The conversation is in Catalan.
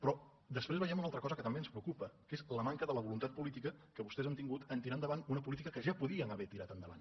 però després veiem una altra cosa que també ens preocupa que és la manca de la voluntat política que vostès han tingut de tirar endavant una política que ja podien haver tirat endavant